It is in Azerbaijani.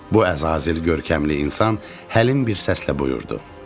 Bu əzazil, görkəmli insan həlim bir səslə buyurdu.